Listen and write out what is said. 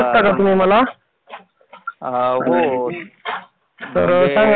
नोकरी विषयी म्हणजे नोकरी करण गरजेचं असतं का त्याचविषयी थोडीशी